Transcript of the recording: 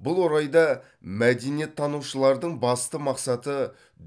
бұл орайда мәдениеттанушылардың басты мақсаты